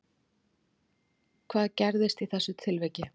Hvað gerðist í þessu atviki